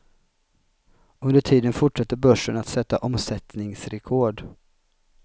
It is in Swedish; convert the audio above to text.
Under tiden fortsätter börsen att sätta omsättningsrekord.